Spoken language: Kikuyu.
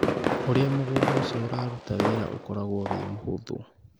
Ũrĩa mũgũnda ũcio ũraruta wĩra ũkoragwo wĩ mũhũthũ.